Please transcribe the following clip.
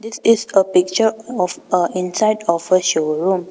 This is a picture of a inside of a showroom.